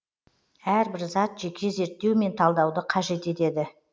әрбір зат жеке зерттеу мен талдауды қажет етеді